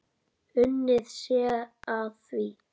Unnið sé að því.